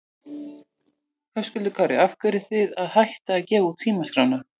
Höskuldur Kári: Af hverju eruð þið að hætta að gefa út símaskrána?